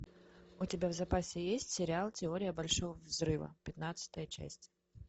у тебя в запасе есть сериал теория большого взрыва пятнадцатая часть